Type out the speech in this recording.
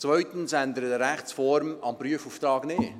Zweitens ändert eine Rechtsform am Prüfauftrag nichts.